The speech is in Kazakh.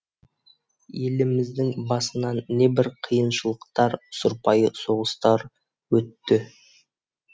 еліміздің басынан небір қиыншылықтар сұрпайы соғыстыр өтті